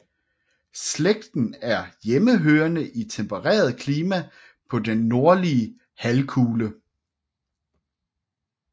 Slægten er hjemmehørende i tempereret klima på den nordlige halvkugle